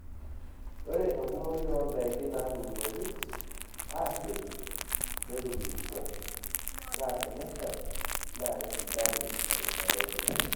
Ore enkumoi oodaiki naatuunoki aasioki netubulutua, naa tenesha naa kesidanu erishata enye.